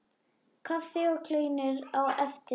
Kaffi og kleinur á eftir.